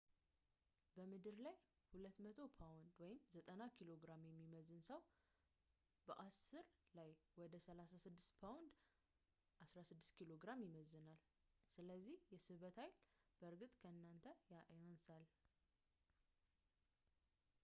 በምድር ላይ 200 ፓውንድ 90kg የሚመዝን ሰው በ io ላይ ወደ 36 ፓውንድ 16 ኪሎ ግራም ይመዝናል። ስለዚህ የስበት ኃይል በእርግጥ በእናንተ ላይ ያንሳል